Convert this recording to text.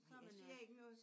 Nej jeg siger ikke noget